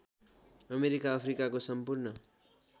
America अफ्रिकाको सम्पूर्ण